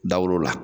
Dawulo la